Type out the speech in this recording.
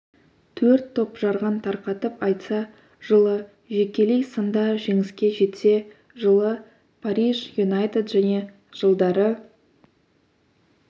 төрт топ жарған тарқатып айтса жылы жекелей сында жеңіске жетсе жылы париж юнайтед және жылдары